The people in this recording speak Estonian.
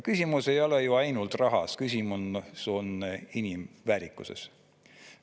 Küsimus ei ole ju ainult rahas, küsimus on inimväärikuses.